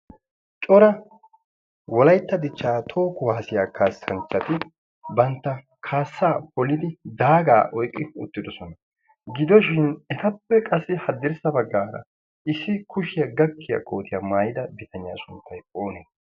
Cora wolaytta dichchaa toho kuwaasiya kaassanchchati bantta kaassaa polidi daagaa oyqqi uttidosona. Gidoshin etappe qassi haddirssa baggaara issi kushiya gakkiya kootiya maayida bitaniya sunttayi oonee?